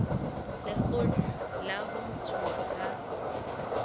lekgotla la ho ntshuwa ha